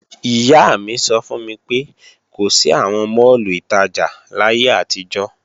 Ìyá mi sọ fún mi pé kò sí àwọn máàlù ìtajà láyé àtijọ́